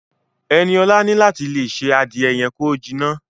Ẹniọ̀la ní láti tí ṣé adìẹ yẹn ki o jiná.